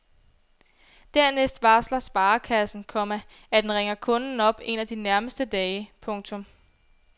Dernæst varsler sparekassen, komma at den ringer kunden op en af de nærmeste dage. punktum